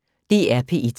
DR P1